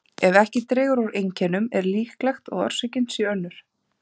Ef ekki dregur úr einkennum er líklegt að orsökin sé önnur.